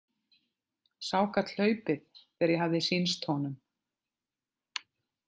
Sá gat hlaupið þegar ég hafði sýnst honum.